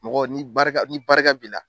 Mɔgɔ ni barika ni barika b'i la.